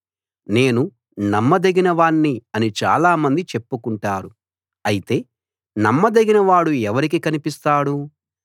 నేను నమ్మదగిన వాణ్ణి అని చాలామంది చెప్పుకుంటారు అయితే నమ్మదగిన వాడు ఎవరికి కనిపిస్తాడు